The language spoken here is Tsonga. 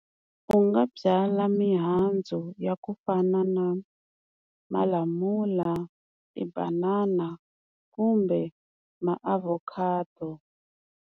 U nga byala mihandzu ya ku fana na malamula, tibanana kumbe maavokhado.